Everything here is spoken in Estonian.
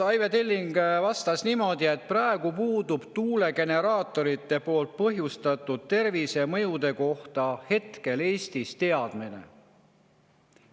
Aive Telling vastas, et tuulegeneraatorite põhjustatud tervisemõjude kohta hetkel Eestis teadmine puudub.